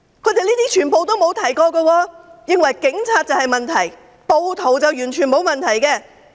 這些他們全部沒有提及，他們認為警察才有問題，暴徒完全沒有問題。